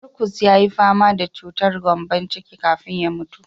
Marcus yayi fama da chutar gyambon ciki kafin ya mutu.